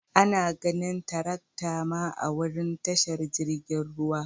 Ana ganin tirakta ma a'wurin tashar jirigin ruwa.